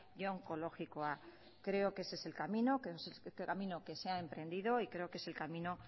y onkologikoa creo que ese el camino que ese es el camino que se ha emprendido y creo que es el camino